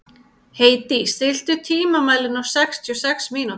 Hedí, stilltu tímamælinn á sextíu og sex mínútur.